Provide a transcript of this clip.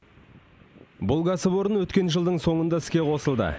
бұл кәсіпорын өткен жылдың соңында іске қосылды